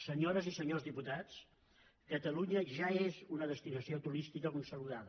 senyores i senyors diputats catalunya ja és una destinació turística consolidada